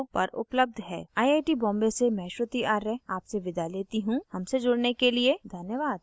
I I T Bombay से मैं श्रुति आर्य आपसे विदा लेती हूँ हमसे जुड़ने के लिए धन्यवाद